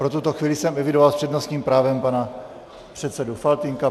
Pro tuto chvíli jsem evidoval s přednostním právem pana předsedu Faltýnka.